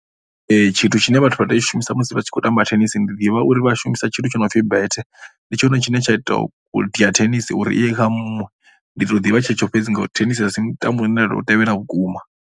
Tshithu tshine vhathu vha tea u tshi shumisa musi vha tshi khou tamba thenisi ndi ḓivha uri vha shumisa tshithu tshi no pfhi bethe ndi tshone tshine tsha ita u dia thenisi uri i ye kha muṅwe. Ndi tou ḓivha tshetsho fhedzi ngauri thenisi a si mutambo u ne nda tou tevhela vhukuma.